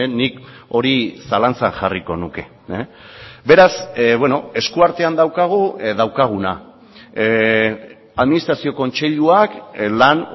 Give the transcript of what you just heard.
nik hori zalantzan jarriko nuke beraz esku artean daukagu daukaguna administrazio kontseiluak lan